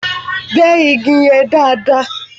Gbẹ́ igi yẹn dáàdaa!